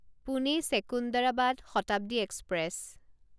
Pune Secunderabad Shatabdi express